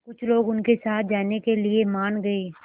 कुछ लोग उनके साथ जाने के लिए मान गए